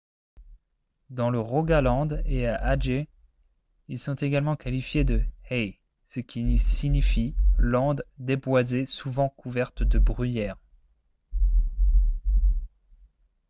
dans le rogaland et à adger ils sont souvent qualifiés de « hei » ce qui signifie landes déboisées souvent couvertes de bruyère